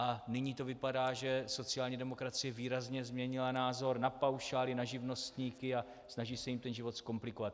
A nyní to vypadá, že sociální demokracie výrazně změnila názor na paušály, na živnostníky a snaží se jim ten život zkomplikovat.